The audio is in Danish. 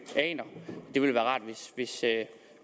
aner det ville være rart